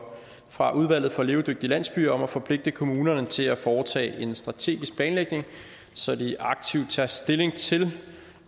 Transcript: fra udvalget for levedygtige landsbyer om at forpligte kommunerne til at foretage en strategisk planlægning så de aktivt tager stilling til